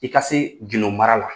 I ka se gindo mara la.